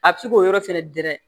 A bɛ se k'o yɔrɔ fɛnɛ dɛrɛ